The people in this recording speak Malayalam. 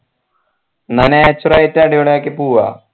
ന്ന nature ആയിട്ട് അടിപൊളി ആയിട്ട് പൂവ